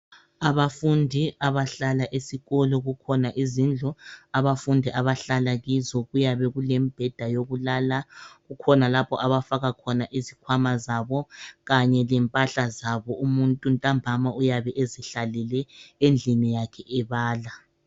Abafundi abahlala esikolo kukhona izindlu. Abafundi abahlala kizo kuyabe kulembheda yokulala. Kukhona lapho abafaka khona izikhwama zabo kanye lempahla zabo. Umuntu ntambama uyabe ezihlalele endlini yakhe ebala.